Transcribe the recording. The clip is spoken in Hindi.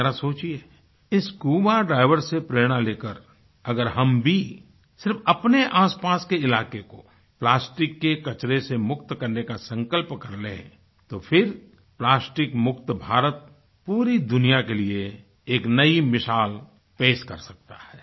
जरा सोचिये इस स्कूबा diversसे प्रेरणा लेकर अगर हम भी सिर्फ अपने आसपास के इलाके को प्लास्टिक के कचरे से मुक्त करने का संकल्प कर लें तो फिर प्लास्टिक मुक्त भारत पूरी दुनिया के लिए एक नई मिसाल पेश कर सकता है